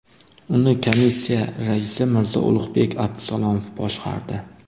Uni komissiya raisi Mirzo Ulug‘bek Abdusalomov boshqardi.